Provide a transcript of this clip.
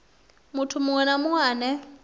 muthu munwe na munwe ane